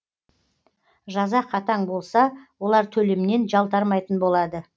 жаза қатаң болса олар төлемнен жалтармайтын болады